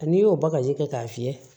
N'i y'o bagaji kɛ k'a fiyɛ